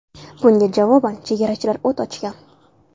Bunga javoban chegarachilar o‘t ochgan.